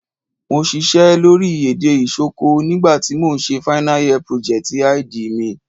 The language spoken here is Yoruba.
Mo sisẹ́ lórí èdè Isoko nígbà ti mo n se final year project_id mi